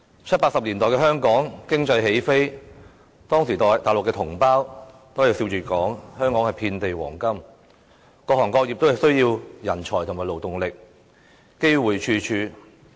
七八十年代的香港經濟起飛，當時內地同胞都會笑着說香港遍地黃金，各行各業都需要人才和勞動力，機會處處。